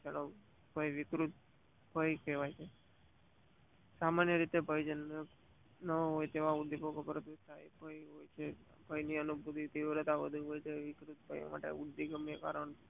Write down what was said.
વિકૃતભય કહેવાય સામાન્ય રીતે ભય ન હોટ તેવા વિકૃત ભય ને અનુભવી નિવૃત માટે ગમે તે કારણ